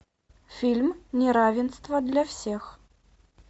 фильм неравенство для всех